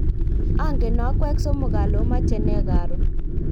ongen akwek somok ale omache nee karon